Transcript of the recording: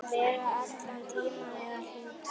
Vera allan tímann eða hluta.